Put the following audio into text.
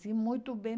Sim, muito bem.